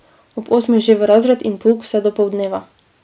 Ob osmih že v razred in pouk vse do poldneva.